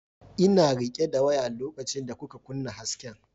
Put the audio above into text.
Ina rike da waya lokacin da kuka kunna hasken.